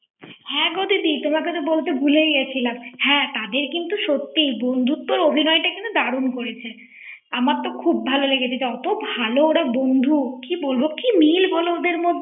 হ্যাঁ গো দিদি তোমাকে তো বলতে ভুলে গেছিলাম হ্যাঁ তাদের কিন্তু তাদের সত্যি বন্ধুর অভিনয়টা সত্যিই দারুণ করেছে আমার খুব ভালো লেগেছে এতো ভালো, ওরা বন্ধু কি বলবো? কি মিল ওদের মধ্যে ৷